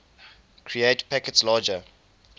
create packets larger